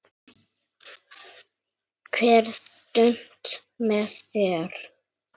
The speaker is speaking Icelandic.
Hver stund með þér.